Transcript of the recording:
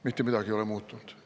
Mitte midagi ei ole muutunud!